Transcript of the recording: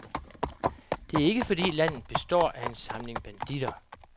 Det er ikke fordi landet består af en samling banditter.